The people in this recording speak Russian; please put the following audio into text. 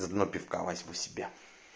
заодно пивка возьму себе